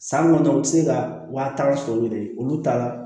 San kɔnɔ u tɛ se ka wa tan sɔrɔ yɛrɛ olu t'a la